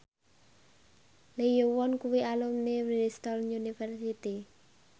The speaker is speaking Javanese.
Lee Yo Won kuwi alumni Bristol university